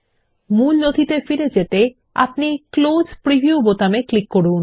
মূল নথিতে ফিরে যেতে ক্লোজ প্রিভিউ বোতামে ক্লিক করুন